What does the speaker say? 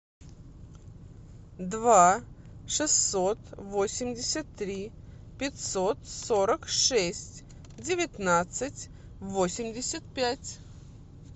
два шестьсот восемьдесят три пятьсот сорок шесть девятнадцать восемьдесят пять